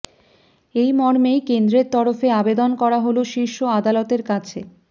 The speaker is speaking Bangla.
এই মর্মেই কেন্দ্রের তরফে আবেদন করা হল শীর্ষ আদালতের কাছে